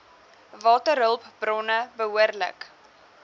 waterhulp bronne behoorlik